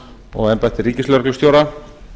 og embætti ríkislögreglustjóra